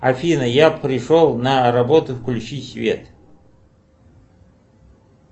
афина я пришел на работу включи свет